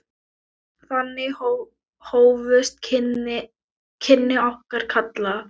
Þannig hófust kynni okkar Kalla.